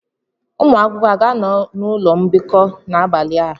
Ụmụ akwụkwọ a ga-anọ n'ụlọ mbikọ n'abalị a?